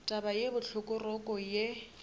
taba ye bohloko roko ye